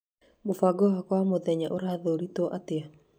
mũbango wakwa wa mũthenyaũrathurĩtwo atĩa?